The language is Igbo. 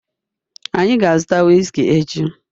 Anyị ga-azụta whiskey echi